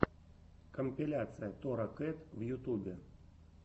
компиляция тора кэт в ютубе